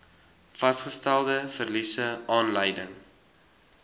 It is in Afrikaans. vasgestelde verliese aanleiding